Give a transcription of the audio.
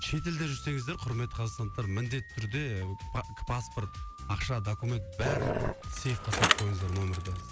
шет елде жүрсеңіздер құрметті қазақстандықтар міндетті түрде паспорт ақша документ бәрін сейфке салып қойыңыздар нөмірде